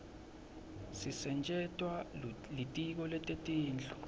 sisetjentwa litiko letetindlu